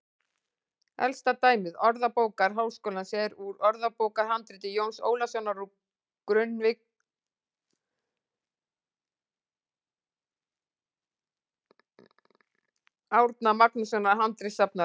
Elsta dæmi Orðabókar Háskólans er úr orðabókarhandriti Jóns Ólafssonar úr Grunnavík, aðstoðarmanns Árna Magnússonar handritasafnara.